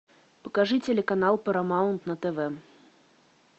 покажи телеканал парамаунт на тв